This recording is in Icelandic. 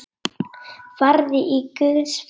Farðu í Guðs friði.